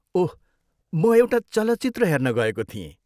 ओह, म एउटा चलचित्र हेर्न गएको थिएँ।